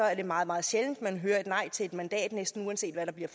er det meget meget sjældent man hører et nej til et mandat næsten uanset hvad der bliver